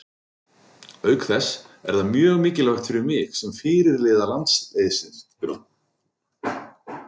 Auk þess er það mjög mikilvægt fyrir mig sem fyrirliða landsliðsins.